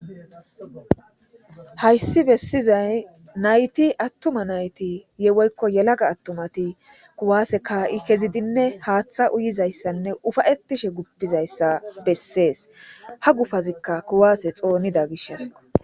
Hayssi bessizay nayti attuma nayti woykko yelaga attumati kuwaase kaa'i kezidinne haaththa uyiza issanne ufayetishe guppiza issa bessees. Ha gufazikka kuwaase xoonida gishasko.